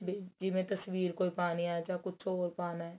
B ਜਿਵੇਂ ਤਸਵੀਰ ਕੋਈ ਪਾਣੀ ਏ ਜਾਂ ਕੁੱਝ ਹੋਰ ਪਾਣਾ